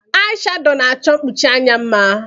Ai shadọ na-achọ mkpuchi anya mma.